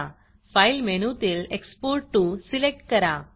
Fileफाइल मेनूतील एक्सपोर्ट toसिलेक्ट करा